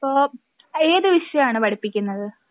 അപ്പോ ഏതു വിഷയമാണ് പഠിപ്പിക്കുന്നത്?